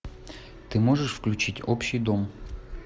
ты можешь включить общий дом